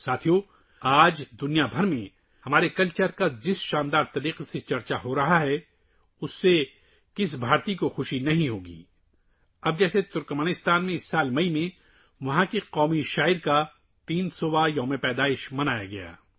دوستو، جس طرح سے آج پوری دنیا میں ہماری ثقافت کی تعریف کی جا رہی ہے اس سے کون سا ہندوستانی خوش نہیں ہوگا؟ اب ترکمانستان میں اس سال مئی میں وہاں کے قومی شاعر کا 300 واں یوم پیدائش منایا گیا